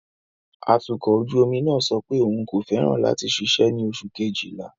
Atukọ̀ ojú omi náà sọ pé òun kò fẹ́ràn láti ṣiṣẹ́ ní oṣù Kejìlá.